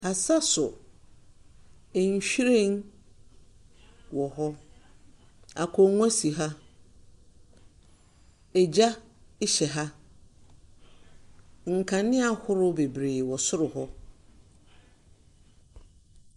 Asaso: nhwiren wɔ hɔ, akonnwa si ha, gya hyɛ ha, nkanea ahorow bebree wɔ soro hɔ.